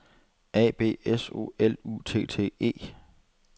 A B S O L U T T E